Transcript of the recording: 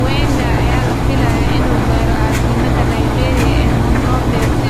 Wenger ayaa la filayaa inuu gaaro caasimadda Liberia ee Monrovia si uu u guddoomo abaalmarinta maalinta Jimcaha.